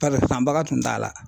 Bari sanbaga tun t'a la.